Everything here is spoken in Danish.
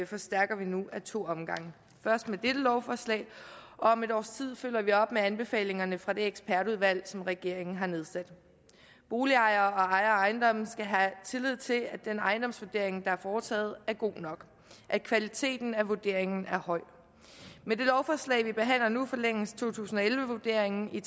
forstærker vi nu ad to omgange først med dette lovforslag og om et års tid følger vi op med anbefalingerne fra det ekspertudvalg som regeringen har nedsat boligejere og ejere af ejendomme skal have tillid til at den ejendomsvurdering der er foretaget er god nok at kvaliteten af vurderingen er høj med det lovforslag vi behandler nu forlænges to tusind og elleve vurderingen i